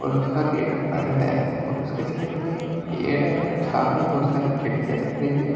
और उसका गेट बंद है और उसके साइड में एक पेड़ है सामने बहुत सारी खिड़कियां दिख रही है।